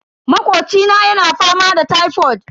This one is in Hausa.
Makocina yana fama da tifod.